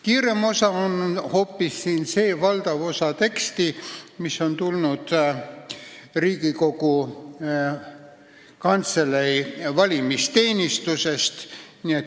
Kiirem on hoopis valdava osaga tekstist, mis on tulnud Riigikogu Kantselei valimisteenistusest.